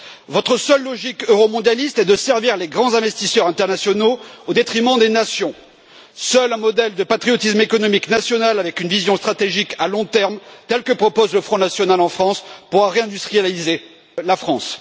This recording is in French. Votre seule logique euromondialiste est de servir les grands investisseurs internationaux au détriment des nations. Seul un modèle de patriotisme économique national avec une vision stratégique à long terme, tel que le propose le Front national en France, pourra réindustrialiser la France.